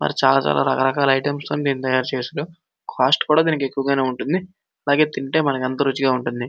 మరి చాలా రకరకాల ఇటీమ్స్ అని తయారు చేసి ఉన్నాయి. కాస్ట్ కూడ మనకి ఎక్కువ గానే ఉంటుంది. అలాగే తింటే మనకి అంతా రుచిగా ఉంటుంది.